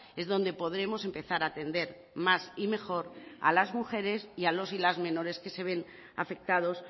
es donde podremos empezar a atender más y mejor a las mujeres y a los y las menores que se ven afectados